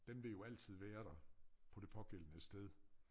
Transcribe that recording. Den vil jo altid være der på det pågældende sted